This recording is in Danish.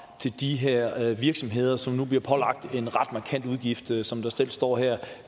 til de her virksomheder som nu bliver pålagt en ret markant udgift som der selv står her